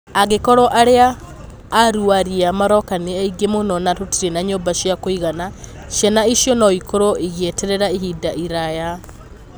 Angĩkorũo arĩa aruarĩa maroka nĩ aingĩ mũno na tũtirĩ na nyũmba cia kũigana, ciana icio no ikorwo igĩeterera ihinda iraya.